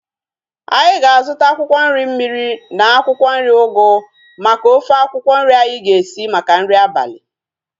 Anyị ga-azuta akwụkwọ nri mmiri na akwụkwọ nri ugu maka ofe akwụkwọ nri anyi ga-esi maka nri abalị